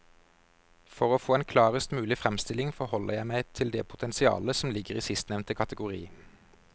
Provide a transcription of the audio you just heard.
For å få en klarest mulig fremstilling forholder jeg meg til det potensialet som ligger i sistnevnte kategori.